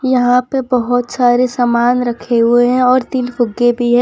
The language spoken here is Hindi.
यहां पे बहुत सारे सामान रखे हुए हैं और तीन फुगे भी है।